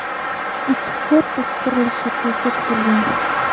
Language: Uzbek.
Ikki korpus qurilishi ko‘zda tutilgan.